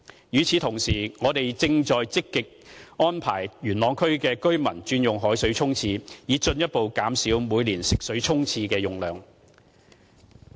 與此同時，我們正積極安排元朗區的居民轉用海水沖廁，以進一步減少每年沖廁的食水用量。